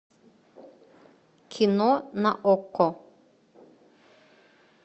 кино на окко